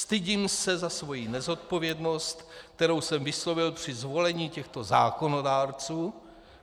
Stydím se za svoji nezodpovědnost, kterou jsem vyslovil při zvolení těchto zákonodárců.